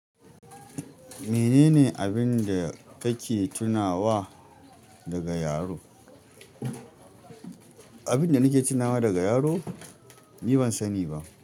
Mene ne abin da kake tunawa daga yaro? Abin da nake tunawa daga yaro? Ni ban sani ba.